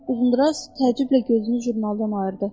Uzundraz təəccüblə gözünü jurnaldan ayırdı.